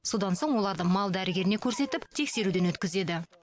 содан соң оларды мал дәрігеріне көрсетіп тексеруден өткізеді